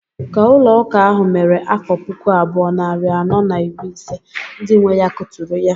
Ka ụlọ ụka ahụ mere afọ puku abụọ, narị anọ na iri ise, ndị nwe ya kuturu ya.